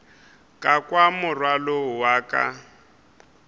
ka kwa morwalo wa ka